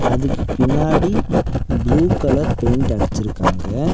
அதுக்கு பின்னாடி blue colour paint அடிச்சிருக்காங்க.